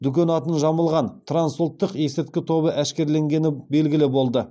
дүкені атын жамылған трансұлттық есірткі тобы әшкереленгені белгілі болды